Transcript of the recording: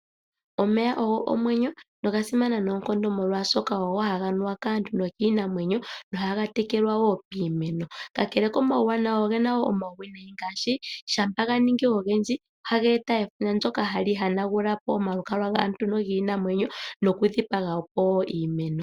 Omeya ogo omwenyo, noga simana noonkondo molwaashoka ogo haga nuwa kaantu nokiinamwenyo, noha ga tekelwa wo piimeno. Kakele komawuwanawa, oge na wo omawuwinayi ngaashi; shampa ga ningi ogendji, ohaga eta efundja ndyoka hali hanagula po omalukalwa gaantu nogiinamwenyo, noku dhipaga po iimeno.